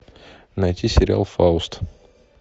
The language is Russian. найти сериал фауст